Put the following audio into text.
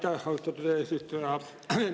Aitäh, austatud eesistuja!